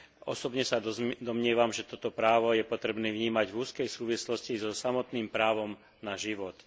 Osobne sa domnievam, že toto právo je potrebné vnímať v úzkej súvislosti so samotným právom na život.